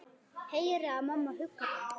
Heyri að mamma huggar hann.